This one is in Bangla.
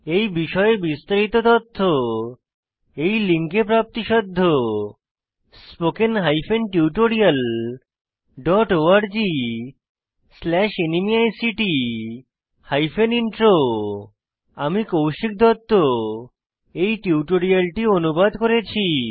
এই বিষয়ে বিস্তারিত তথ্য এই লিঙ্কে প্রাপ্তিসাধ্য httpspoken tutorialorgNMEICT Intro আমি কৌশিক দত্ত এই টিউটোরিয়ালটি অনুবাদ করেছি